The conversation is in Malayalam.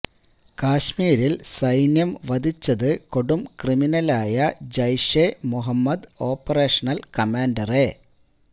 കശ്മീരിൽ സൈന്യം വധിച്ചത് കൊടും ക്രിമിനലായ ജയ്ഷെ മുഹമ്മദ് ഓപ്പറേഷണൽ കമാൻഡറെ